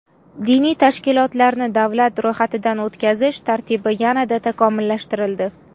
Diniy tashkilotlarni davlat ro‘yxatidan o‘tkazish tartibi yanada takomillashtirildi.